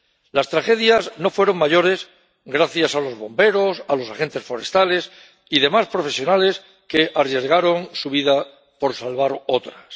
Las tragedias no fueron mayores gracias a los bomberos, a los agentes forestales y demás profesionales que arriesgaron su vida por salvar otras.